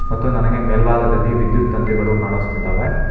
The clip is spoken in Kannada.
ಮತ್ತು ನನಗೆ ಮೇಲ್ಭಾಗದಲ್ಲಿ ವಿದ್ಯುತ್ ತಂತಿಗಳು ಕಾಣಿಸ್ತಿದ್ದಾವೆ.